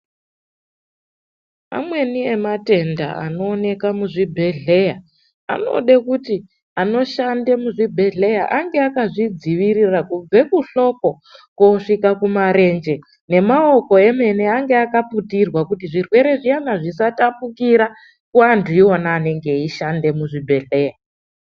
Amweni ematenda anooneka muzvibhedhlera anode kuti anoshanda muzvibhedhlera ange akazvidziirira kubve kuhloko koogume kumarenje. Nenyara dzemene dzinge dzakaputirwa kuti zvitenda zviya zvisatapukira kuanthu iwona anenge eishanda muzvibhedhlera.